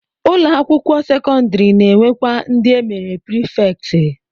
Ụlọakwụkwọ sekọndịrị na-enwekwa ndị e mere prifektị